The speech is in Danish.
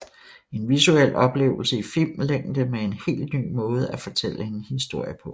En visuel oplevelse i filmlængde med en helt ny måde at fortælle en historie på